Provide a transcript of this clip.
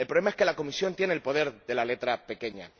El problema es que la Comisión tiene el poder de la letra pequeña.